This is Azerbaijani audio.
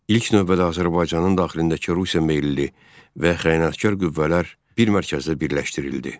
İlk növbədə Azərbaycanın daxilindəki Rusiya meyilli və xəyanətkar qüvvələr bir mərkəzdə birləşdirildi.